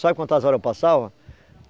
Sabe quantas horas eu passava?